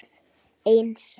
Aðeins ef lífið hefði.?